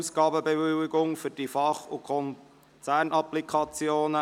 Ausgabenbewilligung für die Fach- und Konzernapplikationen.